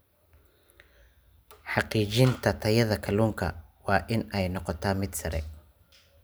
Xaqiijinta tayada kalluunka waa in ay noqotaa mid sare.